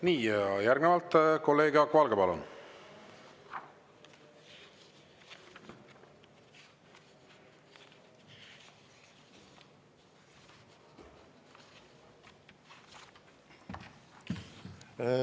Nii, järgnevalt kolleeg Jaak Valge, palun!